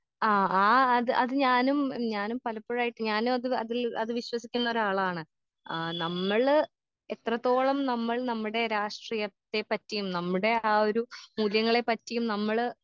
ആ ആ അത് അത് ഞാനും ഞാനും പലപ്പോഴായിട്ട് ഞാനും അത് അതില് അത് വിശ്വസിക്കുന്നൊരാളാണ് ആ നമ്മള് എത്രത്തോളം നമ്മൾ നമ്മടെ രാഷ്ട്രീയത്തെ പറ്റിയും നമ്മടെ ആ ഒരു മൂല്യങ്ങളെ പറ്റിയും നമ്മള്.